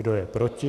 Kdo je proti?